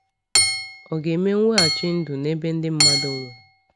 Ọ̀ ga-eme mweghachi ndụ n’ebe ndị mmadụ nwụrụ?